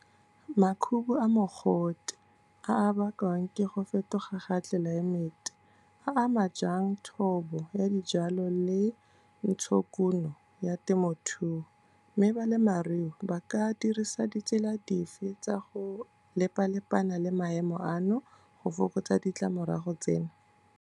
Makhubu a mogote a a bakwang ke go fetoga ga tlelaemete, a ama jang thobo ya dijalo le ntshokuno ya temothuo, mme balemarui ba ka dirisa ditsela dife tsa go lepa lepana le maemo ano go fokotsa ditlamorago tseno?